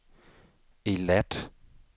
Eilat